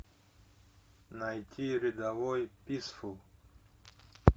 найти рядовой писфул